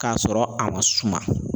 K'a sɔrɔ a ma suma